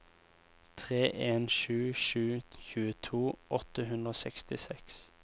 tre en sju sju tjueto åtte hundre og sekstiseks